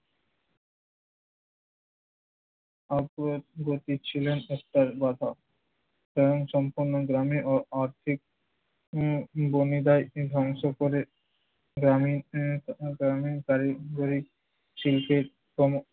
অগ্রবর্তী ছিলেন তার বাবা। কারণ সম্পূর্ণ গ্রামে অআর্থিক উম ভূমিকায় ধ্বংস করে গ্রামীন আহ গ্রামীন পারিবারিক শিল্পের ক্রম